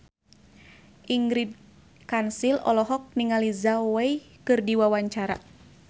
Ingrid Kansil olohok ningali Zhao Wei keur diwawancara